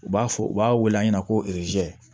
U b'a fɔ u b'a wele an ɲɛna ko